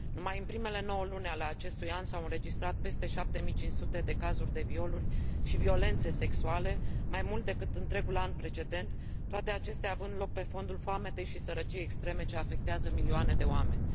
Numai în primele 9 luni ale acestui an s au înregistrat peste 7500 de cazuri de violuri și violențe sexuale, mai mult decât întregul an precedent, toate acestea având loc pe fondul foametei și sărăciei extreme ce afectează milioane de oameni.